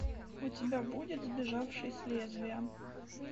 у тебя будет сбежавший с лезвия